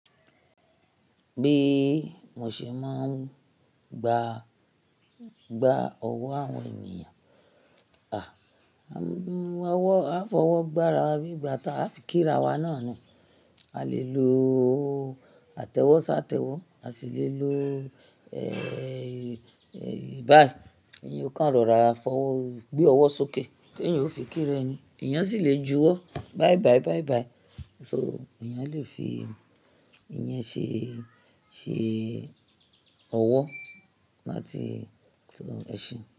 Bí mo ṣe máa ń gba, gba ọwọ́ àwọn ènìyàn? À fọwọ́ gbára wa bí ìgbà tí a fi kíra wa náà ni. A lè lo àtẹ́wọ́ ṣàtẹ́wọ́, a sì lè lo baa. Èyí kàn rọra gbé ọwọ́ sókè tí ènìyàn ó fi kí ra ẹni, ènìyàn sì le ju wọ́ báyibayi, so, ènìyàn le fi ìyẹn ṣe ọwọ́ láti sọ ẹṣeun.